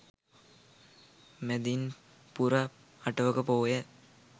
මැදින් පුර අටවක පෝය